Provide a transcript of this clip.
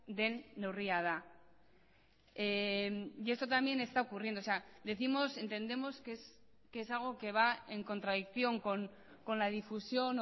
den neurria da y esto también está ocurriendo decimos entendemos que es algo que va en contradicción con la difusión